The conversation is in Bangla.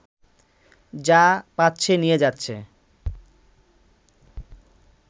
যা পাচ্ছে নিয়ে যাচ্ছে